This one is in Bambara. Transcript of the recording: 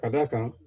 Ka d'a kan